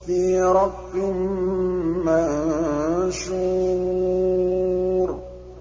فِي رَقٍّ مَّنشُورٍ